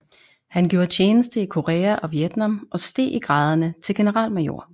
Han gjorde tjeneste i Korea og Vietnam og steg i graderne til generalmajor